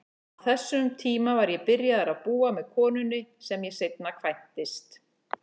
Á þessum tíma var ég byrjaður að búa með konunni sem ég seinna kvæntist.